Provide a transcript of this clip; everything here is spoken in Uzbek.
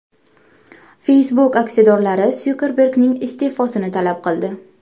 Facebook aksiyadorlari Sukerbergning iste’fosini talab qildi.